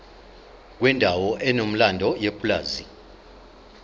kwendawo enomlando yepulazi